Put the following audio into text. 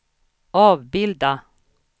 avbilda